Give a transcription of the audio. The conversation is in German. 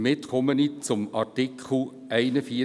Damit komme ich zu Artikel 41 PRG